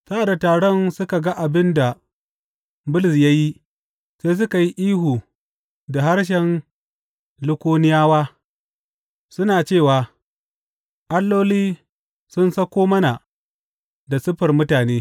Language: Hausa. Sa’ad da taron suka ga abin da Bulus ya yi, sai suka ihu da harshen Likayoniyawa, suna cewa, Alloli sun sauka mana da siffar mutane!